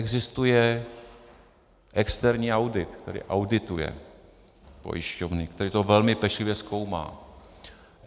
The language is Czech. Existuje externí audit, který audituje pojišťovny, který to velmi pečlivě zkoumá.